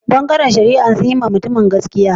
Bangaren shari'an sun yi ma mutumin gaskiya?